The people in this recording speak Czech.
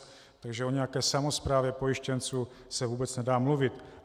Takže o nějaké samosprávě pojištěnců se vůbec nedá mluvit.